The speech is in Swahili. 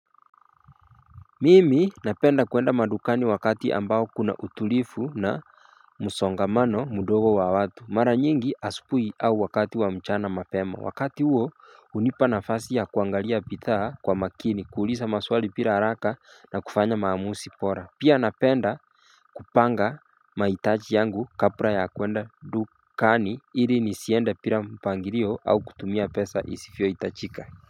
Mimi napenda kuenda madukani wakati ambao kuna utulifu na msongamano mdogo wa watu mara nyingi asupui au wakati wa mchana mapema wakati uwo unipa nafasi ya kuangalia pithaa kwa makini kuulisa maswali pira haraka na kufanya maamusi pora Pia napenda kupanga maitachi yangu kapra ya kwenda dukani ili nisiende pira mpangirio au kutumia pesa isifiyoitachika.